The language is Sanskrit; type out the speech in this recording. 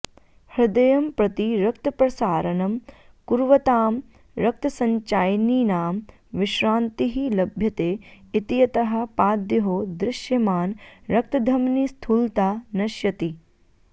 हृदयं प्रति रक्तप्रसारणं कुर्वतां रक्तसञ्चयिनीनां विश्रान्तिः लभ्यते इत्यतः पादयोः दृश्यमान रक्तधमनीस्थूलता नश्यति